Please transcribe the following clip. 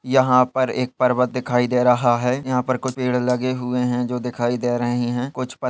यहाँ पर एक पर्वत दिखाई दे रहा है यहाँ पर कुछ पेड़ लगे हुए हैं जो दिखाई दे रहे है कुछ प्--